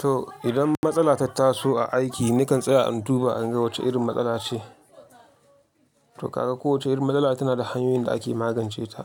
To idan matsala ta taso a aiki nakan tsaya in duba in ga wacce irin matsala ce. To kaga kowacce irin matsala tana da hanyoyin da ake magance ta.